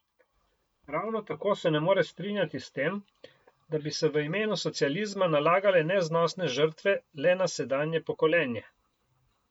Ravno tako se ne more strinjati s tem, da bi se v imenu socializma nalagale neznosne žrtve le na sedanje pokolenje.